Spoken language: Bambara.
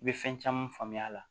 I bɛ fɛn caman faamuya a la